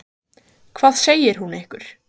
Kristján Már Unnarsson: Hvað segir hún ykkur?